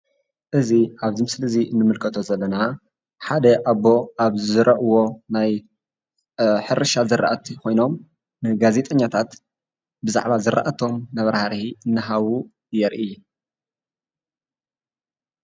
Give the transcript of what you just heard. እዚ ኣብዚ ምስሊ እዙይ እንምልከቶ ዘለና ሓደ ኣቦ ኣብ ዝዘረእዎ ናይ ሕርሻ ዝራእቲ ኮይኖም ንጋዜጠኛታት ብዛዕባ ዝራእቶም መብራህርሂ እናሃቡ የርኢ ።